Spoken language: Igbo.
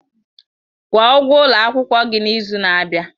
Kwuo ụgwọ ụlọ akwụkwọ gị n'izu na-abịa!